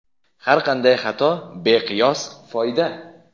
Har qanday xato — beqiyos foyda!.